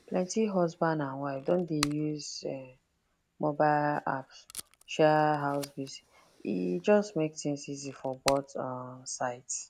plenty husband and wife don dey use mobile apps share house bills e just make things easy for both um sides